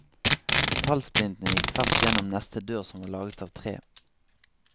Metallsplintene gikk tvers gjennom neste dør som var laget av tre.